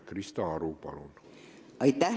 Krista Aru, palun!